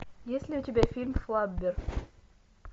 есть ли у тебя фильм флаббер